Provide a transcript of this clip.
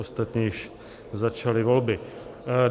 Ostatně již začaly volby.